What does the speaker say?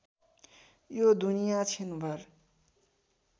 यो दुनिया छिनभर